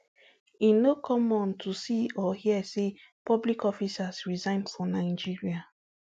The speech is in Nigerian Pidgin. e no common to see or hear say public officers resign for nigeria